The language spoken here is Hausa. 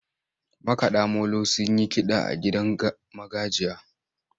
Makaɗa molo sun yi kiɗa a gidan magajiya.